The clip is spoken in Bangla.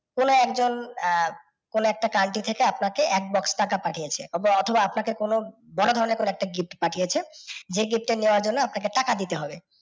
কোনও একজন আহ কোনও একটা country থেকে আপনাকে এক box টাকা পাথিয়েছে। অথবা আপনাকে কোনও বড় ধরণের কোনও একটা gift পাঠিয়েছে যে gift টা নেওয়ার জন্য আপনাকে টাকা দিতে হবে।